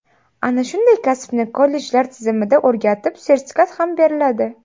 Ana shunday kasbni kollejlar tizimida o‘rgatib, sertifikat ham beriladi.